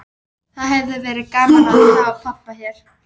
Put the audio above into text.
Það hefði verið gaman að hafa pabba hér.